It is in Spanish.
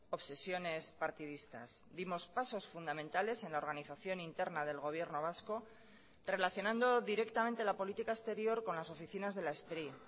obsesiones partidistas dimos pasos fundamentales en la organización interna del gobierno vasco relacionando directamente la política exterior con las oficinas de la spri